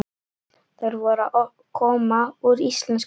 Þær voru að koma úr íslenskuprófi.